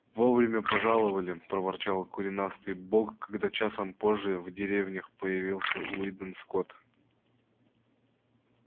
вовремя пожаловали проворчал коренастый бог когда часом позже в деревнях появился уидон скотт